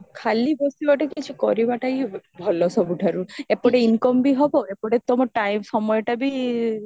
ଖାଲି ବସିବାତ କିଛି କରିବାଟା ହିଁ ଭଲ ସବୁଇଠାରୁ ଏପଟେ incomeବି ହବ ଗୋଟେ ତମ time ସମୟଟା ବି